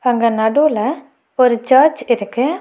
அங்க நடூல ஒரு சர்ச் இருக்கு.